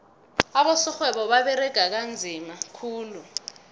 abosorhwebo baberega nzima khulu